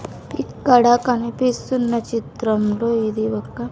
ఇక్కడ కనిపిస్తున్న చిత్రంలో ఇది ఒక.